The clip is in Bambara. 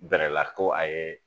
Bɛrɛla ko a ye